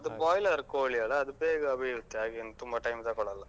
ಅದು boiler ಕೋಳಿ ಅಲಾ ಅದು ಬೇಗ ಬೇಯುತ್ತೆ ಹಾಗೇನ್ ತುಂಬ time ತಗೋಳಲ್ಲ.